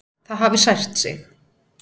Það hafi sært sig.